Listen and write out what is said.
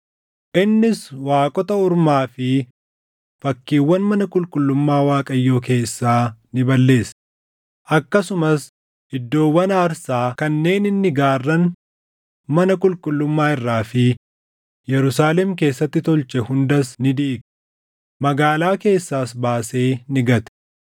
Innis waaqota ormaa fi fakkiiwwan mana qulqullummaa Waaqayyoo keessaa ni balleesse; akkasumas iddoowwan aarsaa kanneen inni gaarran mana qulqullummaa irraa fi Yerusaalem keessatti tolche hundas ni diige; magaalaa keessaas baasee ni gate.